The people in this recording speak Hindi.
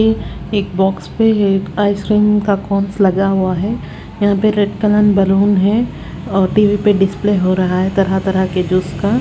ये एक बॉक्स पे है एक आइसक्रीम का कोन्स लगा हुआ है वो भी रेड कलर में बैलून है टी_वी पे डिस्प्ले हो रहा है तरह तरह के जूस का--